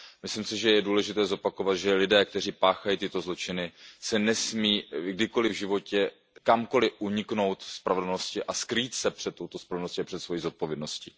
Myslím si, že je důležité zopakovat, že lidé, kteří páchají tyto zločiny, nesmí kdykoliv v životě kamkoliv uniknout spravedlnosti a skrýt se před touto spravedlností a před svojí zodpovědností.